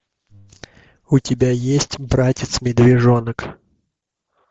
у тебя есть братец медвежонок